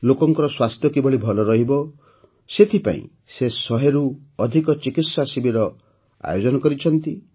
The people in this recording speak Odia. ଲୋକଙ୍କର ସ୍ୱାସ୍ଥ୍ୟ କିଭଳି ଭଲ ରହିବ ସେଥିପାଇଁ ସେ ୧୦୦ରୁ ଅଧିକ ଚିକିତ୍ସା ଶିବିର ଆୟୋଜନ କରିଛନ୍ତି